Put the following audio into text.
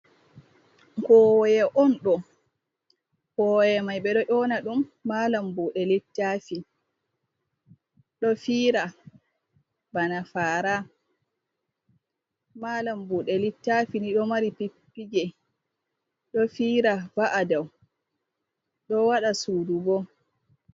Kowoye on ɗo kowe mai ɓeɗo yona ɗum malam buɗe littafi ɗo fira bana fara, malam budɗ littafi ni ɗo mari pippige ɗo fira va’a ɗau, ɗo waɗa sudu bo.